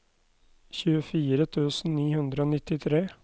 tjuefire tusen ni hundre og nittitre